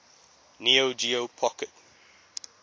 neo geo pocket